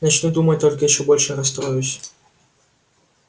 начну думать только ещё больше расстроюсь